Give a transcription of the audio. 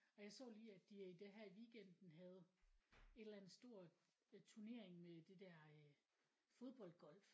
Og jeg så lige at de øh der her i weekenden havde et eller andet stor øh turnering med der der øh fodboldgolf